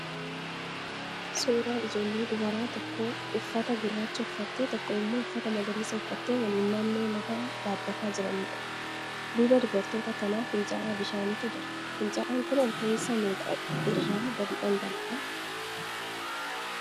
Suuraa ijoollee dubaraa tokko uffata gurraacha uffattee, tokko immoo uffata magariisa uffattee waliin naannoo lagaa dhaabbachaa jiraniidha. Duuba dubartoota kanaa fincaa'aa bishaaniitu jira. Fincaa'aan kun olka'iinsa meeqa irraa gadi dhangala'aa?